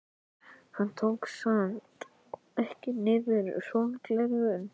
Hann tók samt ekki niður sólgleraugun.